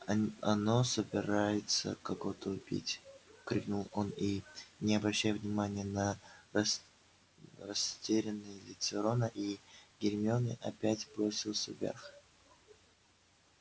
оно собирается кого-то убить крикнул он и не обращая внимания на растерянные лица рона и гермионы опять бросился вверх